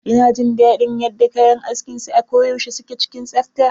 Ina jin daɗin yadda kayan askin sa a ko yaushe suke cikin tsafta.